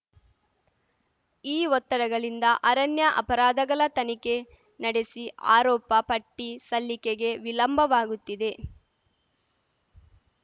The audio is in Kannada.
ಈ ಒತ್ತಡಗಲಿಂದ ಅರಣ್ಯ ಅಪರಾಧಗಳ ತನಿಖೆ ನಡೆಸಿ ಆರೋಪ ಪಟ್ಟಿಸಲ್ಲಿಕೆಗೆ ವಿಲಂಬವಾಗುತ್ತಿದೆ